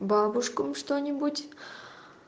бабушкам что-нибудь